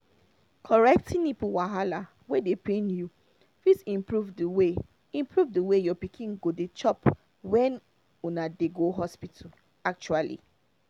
correcting nipple wahala wey dey pain you fit improve the way improve the way your pikin go dey chop when una dey go hospital actually